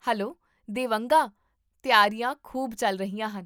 hello Devanga, ਤਿਆਰੀਆਂ ਖੂਬ ਚੱਲ ਰਹੀਆਂ ਹਨ